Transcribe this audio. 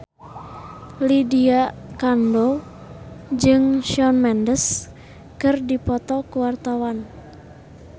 Lydia Kandou jeung Shawn Mendes keur dipoto ku wartawan